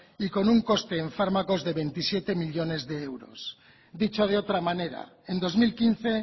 y con un coste en fármacos de veintisiete millónes de euros dicho de otra manera en dos mil quince